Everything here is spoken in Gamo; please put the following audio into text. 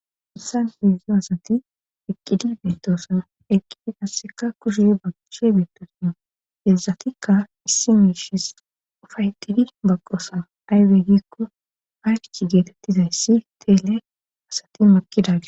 Hatisani hedzdzu asati eqqidi beetoosan eqqidi gasseka kushe baqishe beetosin hezatikka issi miishis ufaydidi baqqosan aywe giikko hayfchi geetettizayssi teele asati maqidagis